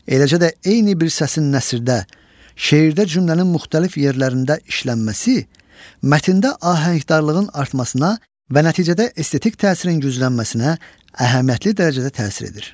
Eləcə də eyni bir səsin nəsirdə, şeirdə cümlənin müxtəlif yerlərində işlənməsi, mətndə ahəngdarlığın artmasına və nəticədə estetik təsirin güclənməsinə əhəmiyyətli dərəcədə təsir edir.